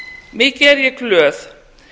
mikið er ég glöð